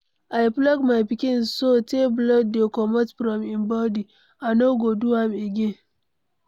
I flog my pikin so tey blood dey comot from im body. I no go do am again.